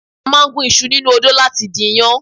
A máa ń gún iṣu nínú odó láti di iyán